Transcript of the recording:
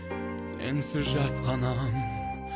сенсіз жасқанам